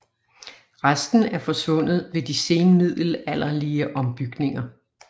Resten er forsvundet ved de senmiddelalderlige ombygninger